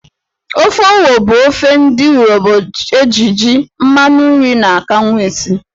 Ofe Owo bụ ofe ndị Urobo eji jí, mmanụ nri na akanwụ esi.